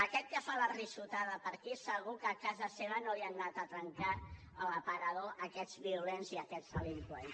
a aquest que fa la riallada per aquí segur que a casa seva no li han anat a trencar l’aparador aquests violents i aquests delinqüents